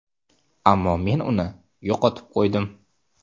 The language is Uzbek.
Ammo men uni yo‘qotib qo‘ydim.